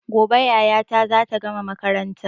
Gobe yayata zata gama makaranta